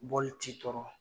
Bɔl t'i tɔɔrɔ.